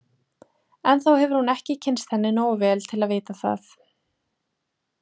Ennþá hefur hún ekki kynnst henni nógu vel til að vita það.